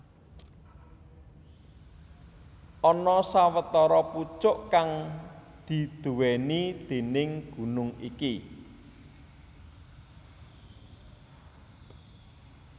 Ana sawetara pucuk kang diduwèni déning gunung iki